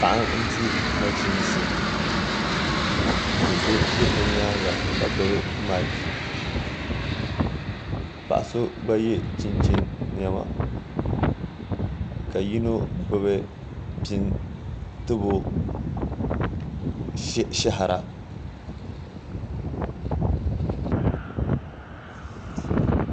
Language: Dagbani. Paɣa n di nachiinsi do so ʒɛ o nyaanga ka gbubi maik paɣa so gba yɛ chinchin niɛma ka yino gbubi pini tibo shahara